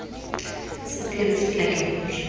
sa phiri fela ke gore